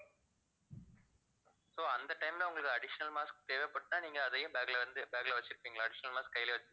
so அந்த time ல உங்களுக்கு additional mask தேவைப்பட்டால் நீங்க அதையும் bag ல வந்து bag ல வச்சிருக்கீங்களா additional mask கைலயே வச்சிருப்பீங்களா